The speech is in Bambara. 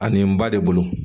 Ani n ba de bolo